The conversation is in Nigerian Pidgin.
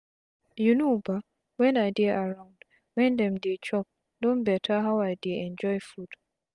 you know bah wen i dey around wen dem dey chop don beta how i dey enjoy food.